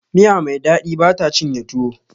Miya Mai daɗi bata cinye tuwo